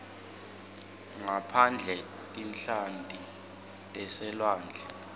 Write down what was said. ngaphandle tinhlanti taselwandle